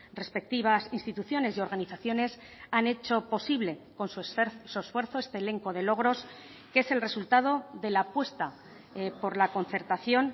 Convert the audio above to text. respectivas instituciones y organizaciones han hecho posible con su esfuerzo este elenco de logros que es el resultado de la apuesta por la concertación